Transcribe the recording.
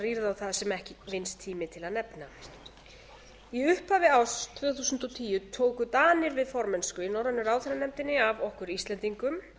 rýrð á það sem ekki vinnst tími til að nefna í upphafi árs tvö þúsund og tíu tóku danir við formennsku í norrænu ráðherranefndinni af okkur íslendingum